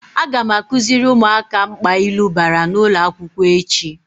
Aga m akuziri umuaka mkpa ilu bara n'ulo akwukwo echi.